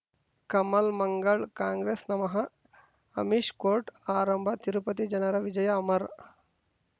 Kamal Mangal Congress ನಮಃ Amish court ಆರಂಭ ತಿರುಪತಿ ಜನರ ವಿಜಯ ಅಮರ್